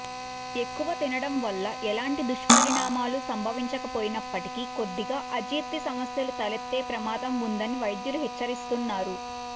ఎక్కువ తినడం వల్ల ఎలాంటి దుష్పరిణామాలు సంభవించకపోయినప్పటికీ కొద్దిగా అజీర్తి సమస్యలు తలెత్తే ప్రమాదం ఉందని వైద్యులు హెచ్చరిస్తున్నారు